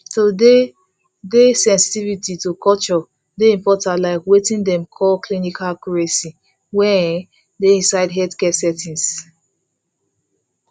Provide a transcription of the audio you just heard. to dey dey sensitivity to culture dey important like weting dem dey call clinical accuracy wey um dey inside healthcare settings